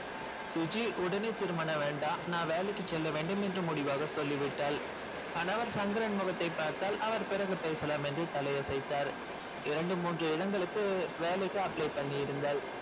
சுஜி உடனே திருமணம் வேண்டாம் நான் வேலைக்கு செல்ல வேண்டும் என்று முடிவாக சொல்லிவிட்டாள் கணவர் சங்கரன் முகத்தை பார்த்தாள் அவர் பிறகு பேசலாம் என்று தலை அசைத்தார் இரண்டு மூன்று இடங்களுக்கு வேலைக்கு apply பண்ணி இருந்தாள்